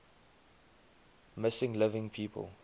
missing living people